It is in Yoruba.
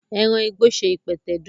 Eran igbo ṣe ipẹtẹ didun.